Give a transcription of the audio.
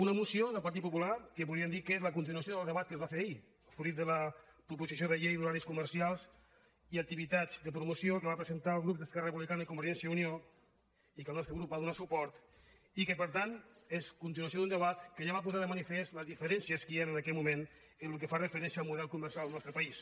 una moció del partit popular que podríem dir que és la continuació del debat que es va fer ahir fruit de la proposició de llei d’horaris comercials i activitats de promoció que van presentar el grup d’esquerra re·publicana i convergència i unió i a la qual el nos·tre grup va donar suport i que per tant és continuació d’un debat que ja va posar de manifest les diferències que hi han en aquest moment en el que fa referència al model comercial al nostre país